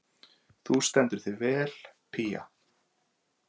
Þú stendur þig vel, Pía!